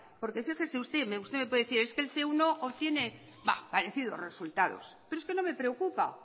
porque fíjese usted usted me puede decir que el ce uno obtiene parecidos resultados pero es que no me preocupa